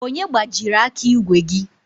Onye gbajiri aka ígwè gi?